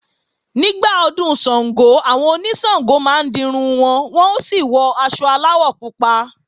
Nígbà Ọdún Ṣàngó, àwọn oníṣàngó máa ń dirun wọn, wọ́n ó sì wọ aṣọ aláwọ̀ pupa